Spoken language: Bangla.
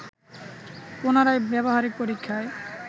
পুনরায় ব্যবহারিক পরীক্ষায়